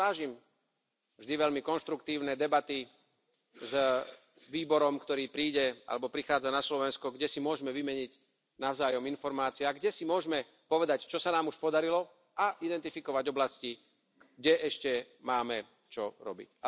A ja si vážim vždy veľmi konštruktívne debaty s výborom, ktorý príde alebo prichádza na Slovensko, kde si môžeme vymeniť navzájom informácie a kde si môžeme povedať, čo sa nám už podarilo, a identifikovať oblasti, kde ešte máme čo robiť.